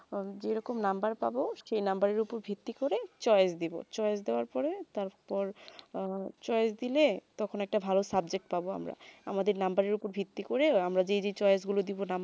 যেইরকম number পাবো সেই number উপরে ভিক্তি করে choice দিবো choice দেবার পরে তার পর choice দিলে তখন একটা ভালো subject পাবো আমরা আমাদের number এর উপর ভীতি করে আমরা যে যে choice গুলু দিবো